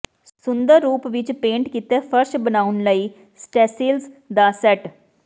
ਸੁੰਦਰ ਰੂਪ ਵਿਚ ਪੇਂਟ ਕੀਤੇ ਫ਼ਰਸ਼ ਬਣਾਉਣ ਲਈ ਸਟੇਸੀਲਸ ਦਾ ਸੈੱਟ